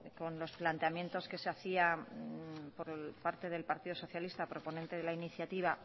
con los planteamientos que se hacía por parte del partido socialista proponente de la iniciativa